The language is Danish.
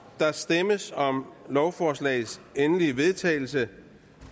der stemmes om lovforslagets endelige vedtagelse